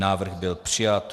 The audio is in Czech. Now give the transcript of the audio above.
Návrh byl přijat.